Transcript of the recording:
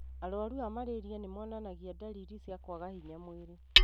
Arwaru a malaria nĩmonanagia ndariri cia kwaga hinya mwĩrĩ.